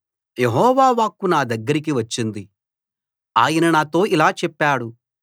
యెహోవా వాక్కు నా దగ్గరకి వచ్చింది ఆయన నాతో ఇలా చెప్పాడు